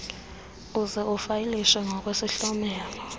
uze ufayilishe ngokwesihlomelo